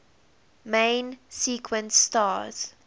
main sequence stars